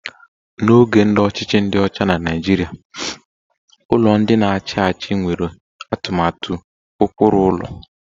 Na oge ndị ọchịchị ndi ocha na Naịjirịa, ụlọ ndị na-achị achị nwere atụmatụ ụkpụrụ ụlọ